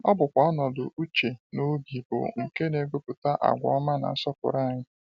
Ọ bụkwa ọnọdụ uche na obi bụ nke na-egopụta agwa ọma na nsọpụrụ anyị.